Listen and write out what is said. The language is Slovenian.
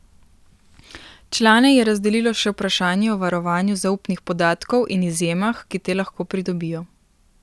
Člane je razdelilo še vprašanje o varovanju zaupnih podatkov in izjemah, ki te lahko pridobijo.